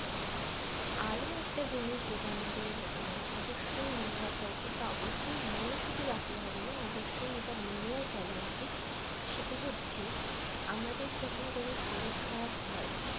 আরো একটা জিনিস যেটা আমাদের অবশ্যই মনে রাখা উচিত বা অবশ্যই মনে শুধু রাখলে হবে না অবশ্যই এটা মেনে চলা উচিত সেটা হচ্ছে আমাদের যখন কোন শরীর খারাপ হয়